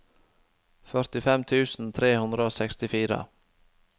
førtifem tusen tre hundre og sekstifire